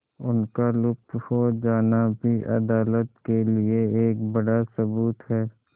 उनका लुप्त हो जाना भी अदालत के लिए एक बड़ा सबूत है